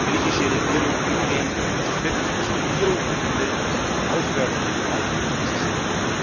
Ich hoffe, dass die griechische Regierung sich umgehend wirklich als Regierung empfindet und aufhört, Wahlkämpfer zu sein.